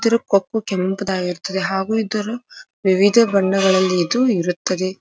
ಇದ್ರ ಕೊಪ್ಪು ಕೆಂಪ್ ದಾಗಿರುತ್ತದೆ ಹಾಗು ಇದರ ವಿವಿಧ ಬಣ್ಣಗಳಲ್ಲಿ ಇದು ಇರುತ್ತದೆ.